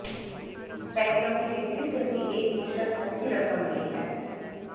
spectrum की बिक्री से भी एकमुश्त अच्छी रकम मिली है